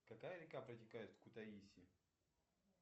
какая река протекает в кутаиси